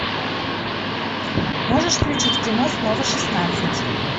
можешь включить кино снова шестнадцать